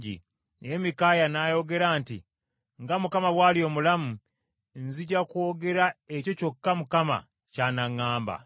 Naye Mikaaya n’ayogera nti, “Nga Mukama bw’ali omulamu, nzija kwogera ekyo kyokka Mukama ky’anaŋŋamba.”